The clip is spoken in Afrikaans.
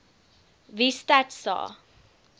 wie stats sa